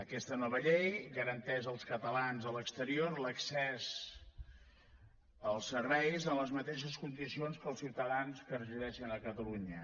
aquesta nova llei garanteix als catalans a l’exterior l’accés als serveis en les mateixes condicions que als ciutadans que resideixen a catalunya